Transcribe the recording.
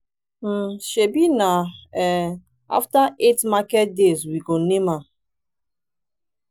um shebi na um after eight market days we go name am.